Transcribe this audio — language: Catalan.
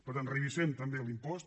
per tant revisem també l’impost